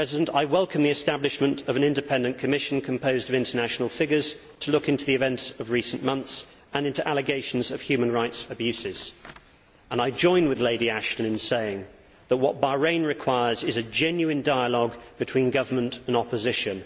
I welcome the establishment of an independent commission composed of international figures to look into the events of recent months and into allegations of human rights abuses, and I join with Baroness Ashton in saying that what Bahrain requires is a genuine dialogue between government and opposition.